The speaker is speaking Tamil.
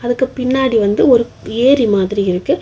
அதுக்கு பின்னாடி வந்து ஒரு ஏரி மாதிரி இருக்கு.